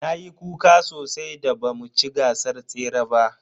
Nayi kuka sosai da ba mu ci gasar tsere ba.